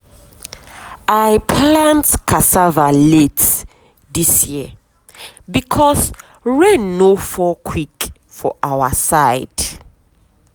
i plant cassava late this year because rain no fall quick for our side.